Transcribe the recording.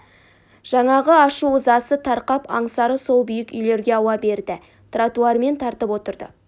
жаңағы ашу ызасы тарқап аңсары сол биік үйлерге ауа берді тротуармен тартып отырды